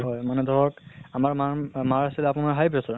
হয় মানে ধৰক আমাৰ মাৰ মাৰ আছিল আপোনাৰ high pressure